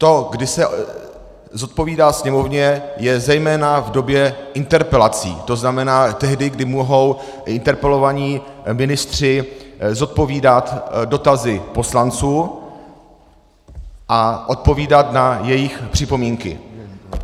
To, kdy se zodpovídá Sněmovně, je zejména v době interpelací, to znamená tehdy, kdy mohou interpelovaní ministři zodpovídat dotazy poslanců a odpovídat na jejich připomínky.